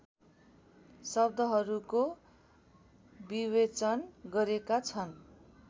शब्दहरूको विवेचन गरेका छन्